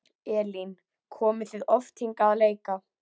Elín: Komið þið oft hingað að leika?